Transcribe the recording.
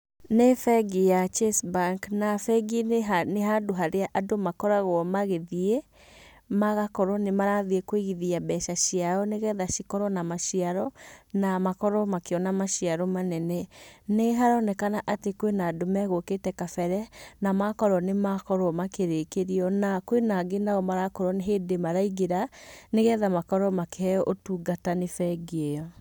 Nĩ bengĩ ya Chase bank, na bengi nĩ handũ harĩa andũ makoragwo magĩthiĩ magakorwo nĩ marathiĩ kũigithia mbeca ciao nĩgetha cikorwo na maciaro na makorwo makĩona maciaro manene. Nĩharonekana atĩ kwĩ na andũ megũkĩte kambere na makorwo nĩ makorwo makĩrĩkĩrio. Na kwĩna angĩ na o marakorwo nĩ hĩndĩ maraingĩra nĩgetha makorwo makĩheyo ũtungata nĩ bengi ĩ yo.